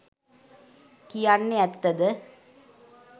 කියන්නෙ ඇත්ත ද?